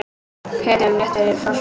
Hiti um eða rétt yfir frostmarki